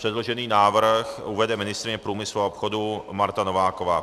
Předložený návrh uvede ministryně průmyslu a obchodu Marta Nováková.